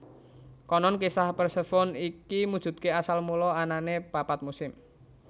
Konon kisah Persefone iki mujudake asal mula anane papat musim